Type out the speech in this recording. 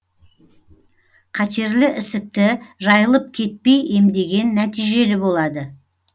қатерлі ісікті жайылып кетпей емдеген нәтижелі болады